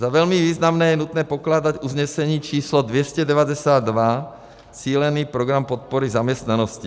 Za velmi významné je nutné pokládat usnesení číslo 292, cílený program podpory zaměstnanosti.